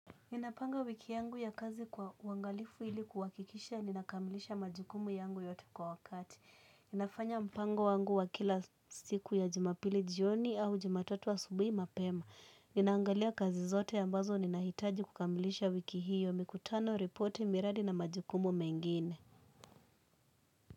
Ninapanga wiki yangu ya kazi kwa uangalifu hili kuwakikisha ninakamilisha majukumu yangu yote kwa wakati. Ninafanya mpango wangu wa kila siku ya jumapili jioni au jumatatu asubui mapema. Ninaangalia kazi zote ambazo ninahitaji kukamilisha wiki hiyo mikutano ripoti miradi na majukumu mengine.